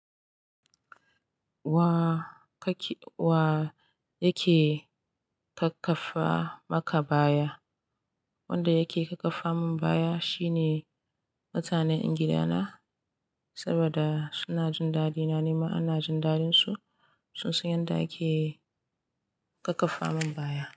Wa kake-- wa yake kakkafa maka baya? Wanda yake kakkafa min baya shine mutanen gida na, saboda suna jin dadina, nima ina jin dadin su. Sun san yadda ake kakkafa min baya.